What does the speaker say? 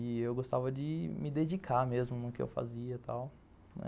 E eu gostava de me dedicar mesmo no que eu fazia e tal.